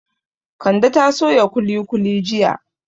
Kande ta soya kuli kuli jiya